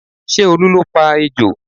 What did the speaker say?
Ṣé Olu ló pa ejò?